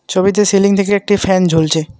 ছবিতে সিলিং থেকে একটি ফ্যান ঝুলছে।